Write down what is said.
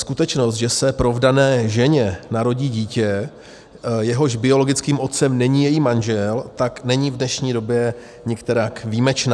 Skutečnost, že se provdané ženě narodí dítě, jehož biologickým otcem není její manžel, tak není v dnešní době nikterak výjimečná.